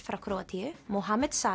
frá Króatíu